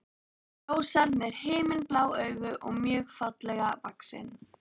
Hún er ljóshærð með himinblá augu og mjög fallega vaxin.